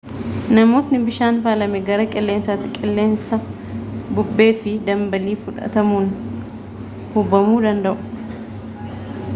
namootni bishaan faalame gara qilleensaatti qilleensa bubbee fi dambaliin fudhatamuun hubamuu danda'u